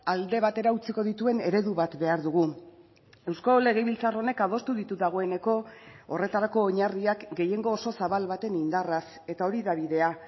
alde batera utziko dituen eredu bat behar dugu eusko legebiltzar honek adostu ditu dagoeneko horretarako oinarriak gehiengo oso zabal baten indarraz eta hori da bidea